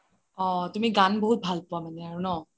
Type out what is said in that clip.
অহ তুমি গান বহুত ভাল পুৱা মানে